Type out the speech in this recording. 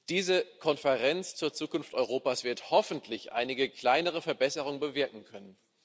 Diese Konferenz zur Zukunft Europas wird hoffentlich einige kleinere Verbesserungen bewirken können.